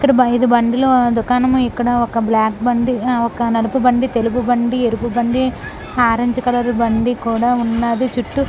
ఇక్కడ బైదు బండిలో దుకాణము ఇక్కడ ఒక బ్లాక్ బండి ఒక నలుపు బండి తెలుపు బండి ఎరుపు బండి ఆరంజ్ కలర్ బండి కూడా ఉన్నది. చుట్టూ--